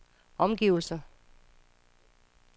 omgivelser